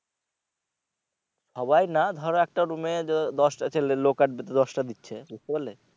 সবাই না ধরো একটা room এ দশটা ছেলে দশটা দিচ্ছে বুঝতে পারলে?